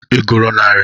Ị gụrụ narị?